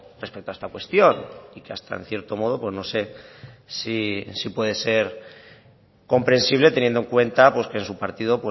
respecto a esta cuestión y que hasta en cierto modo no sé si puede ser comprensible teniendo en cuenta que en su partido